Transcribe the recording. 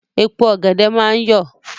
Èpo ọ̀gẹ̀dẹ̀ máa ń yọ̀.